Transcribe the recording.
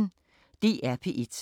DR P1